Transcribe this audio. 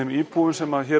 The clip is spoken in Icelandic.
íbúum sem